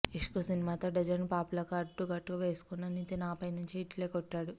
ఇష్క్ సినిమాతో డజను ప్లాపులకు అడ్డుకట్ట వేసుకున్న నితిన్ ఆపై మంచి హిట్లే కొట్టాడు